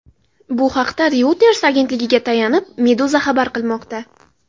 Bu haqda Reuters agentligiga tayanib, Meduza xabar qilmoqda .